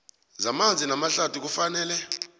zamanzi namahlathi kufanele